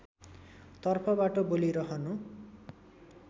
तर्फबाट बोलिरहनु